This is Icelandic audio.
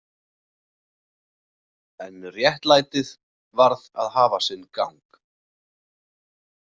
En réttlætið varð að hafa sinn gang.